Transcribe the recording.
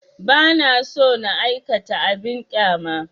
Ba na so na aikata abin ƙyama